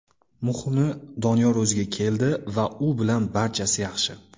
Muhimi, Doniyor o‘ziga keldi va u bilan barchasi yaxshi.